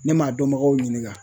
Ne m'a dɔnbagaw ɲininka